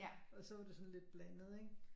Og så var det sådan lidt blandet ikke